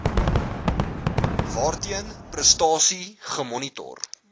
waarteen prestasie gemonitor